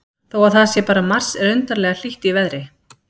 Þó að það sé bara mars er undarlega hlýtt í veðri.